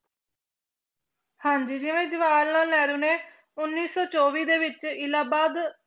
ਹਾਂਜੀ ਜਿਵੇਂ ਜਵਾਹਰ ਲਾਲ ਨਹਿਰੂ ਨੇ ਉੱਨੀ ਸੌ ਚੌਵੀ ਦੇ ਵਿੱਚ ਇਲਾਹਾਬਾਦ